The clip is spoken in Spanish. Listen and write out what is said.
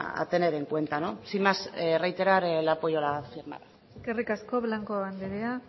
a tener en cuenta sin más reiterar el apoyo a la firmada eskerrik asko blanco andrea